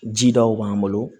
Jidaw b'an bolo